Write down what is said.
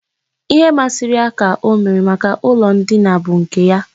Ihe masịrị ya ka o mere. Maka ụlọ ndina a bụ nke ya.